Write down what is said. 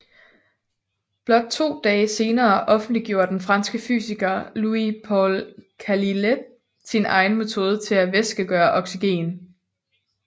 Blot to dage senere offentliggjorde den franske fysiker Louis Paul Cailletet sin egen metode til at væskegøre oxygen